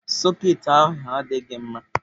Sọketị ahụ adịghị mma.